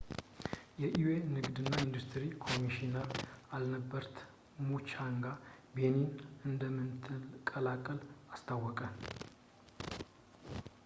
የ ኤዩ ንግድ እና ኢንዱስትሪ ኮሚሽነር አልበርት ሙቻንጋ ቤኒን እንደምትቀላቀል አስታወቀ